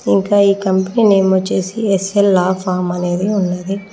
ఇంకా ఈ company name వచ్చేసి ఎస్_ఎల్ లా ఫార్మ్ అనేది ఉన్నది.